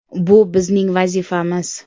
Bu bizning vazifamiz.